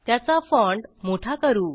त्याचा फॉन्ट मोठा करू